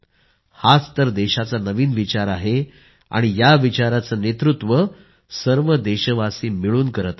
हाच तर देशाचा नवीन विचार आहे आणि या विचाराचे नेतृत्व सर्व देशवासी मिळून करीत आहेत